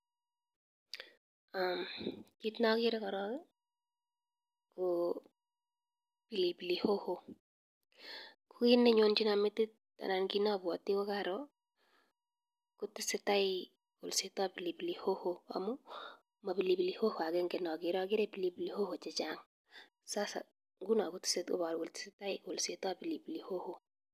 Kiit nokere korong ko pilipili hoho, ko kiit nenyonchinon metit anan kiit neobwote ko karo koteseta kolsetab pilipil hoho amun mo pilipili hoho akenge neokere akere pilipili hoho chechang, sasa ngunon koboru kolee teseta kolsetab pilipili hoho.